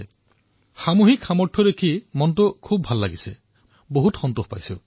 তেনেধৰণৰ ঘটনাৰ সাক্ষী হবলৈ পোৱাটো সঁচাকৈয়ে সন্তোষজনক